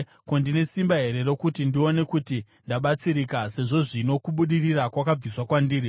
Ko, ndine simba here rokuti ndione kuti ndabatsirika, sezvo zvino kubudirira kwakabviswa kwandiri?